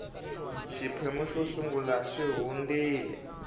xiphemu xo sungula xi hundile